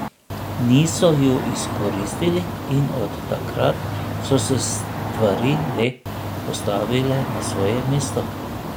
Niso ju izkoristili in od takrat so se stvari le postavile na svoje mesto.